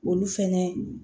Olu fɛnɛ